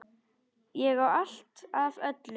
Ég á allt af öllu!